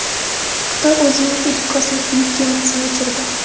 Xitoy o‘zining ilk kosmik yuk kemasini uchirdi.